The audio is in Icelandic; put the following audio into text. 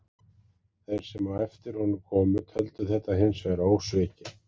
Þeir sem á eftir honum komu töldu þetta hins vegar ósvikið.